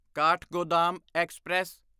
Kathgodam express